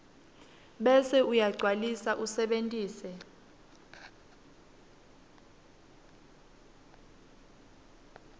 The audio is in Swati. bese uyagcwalisa usebentise